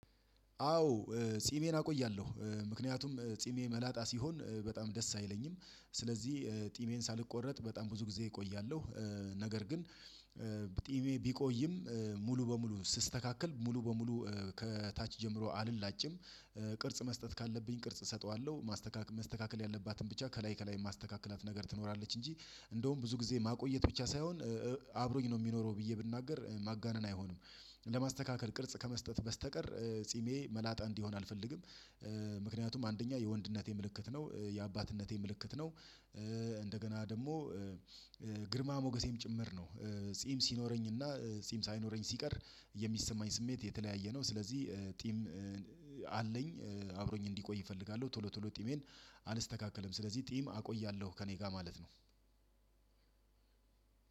አዎ ጺሜን አቆያለሁ ምክንያቱም ጺሜ መላጣ ሲሆን በጣም ደስ አይለኝም ስለዚህ ጢሜን ሳልቆረጥ በጣም ብዙ ጊዜ እቆያለሁ። ነገር ግን ጢሜ ቢቆይም ሙሉ በሙሉ ስስተካከል ሙሉ በሙሉ ከታች ጀምሮ አልላጭም ቅርጽ መስጠት ካለብኝ ቅርጽ እሰጠዋለሁ ማስተካከል ያለባትን ብቻ ከላይ ከላይ ማስተካከላት ነገር ትኖራለች እንጂ እንደውም ብዙ ጊዜ ማቆየት ብቻ ሳይሆን አብሮኝ ነው የሚኖረው ብዬ ብናገር ማጋነን አይሆንም ለማስተካከል ቅርጽ ከመስጠት በስተቀር ጺሜ መላጣ እንዲሆን አልፈልግም። ምክንያቱም አንደኛ የወንድነት ምልክት ነው የአባትነት ምልክት ነው። እንደገና ደግሞ ግርማ ሞገሴም ጭምር ነው ጺም ሲኖረኝ እና ጺም ሳይኖረኝ ሲቀር የሚሰማኝ ስሜት የተለያየ ነው። ስለዚህ ጢም አለኝ አብሮኝ እንዲቆይ እፈልጋለሁ ቶሎ ቶሎ ጢሜን አልስተካከለም ስለዚህ ጢም አቆያለሁ ከእኔ ጋር ማለት ነው።